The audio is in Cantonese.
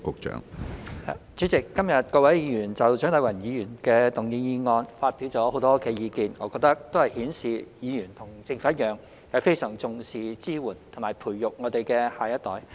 主席，今天各位議員就蔣麗芸議員動議的議案發表了很多意見，我覺得均顯示議員與政府一樣，非常重視支援及培育我們的下一代。